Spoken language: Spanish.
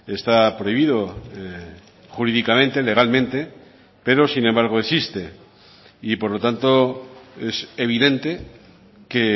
está prohibido jurídicamente legalmente pero sin embargo existe y por lo tanto es evidente que